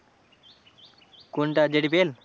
কোনটা যে D P এল?